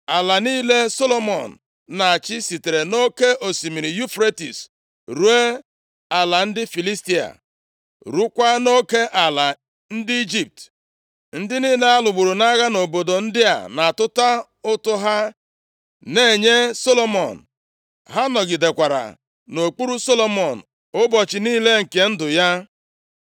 Ala niile Solomọn na-achị sitere nʼoke osimiri Yufretis ruo ala ndị Filistia, rukwaa nʼoke ala ndị Ijipt. + 4:21 Oke alaeze niile Solomọn bụ dịka Chineke kweere ya Ebraham na nkwa \+xt Jen 15:18-21; Dit 17; 11:24; Jos 1:4.\+xt* Ndị niile a lụgburu nʼagha nʼobodo ndị a na-atụta ụtụ ha na-enye Solomọn. Ha nọgidekwara nʼokpuru Solomọn ụbọchị niile nke ndụ ya.